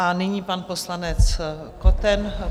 A nyní pan poslanec Koten.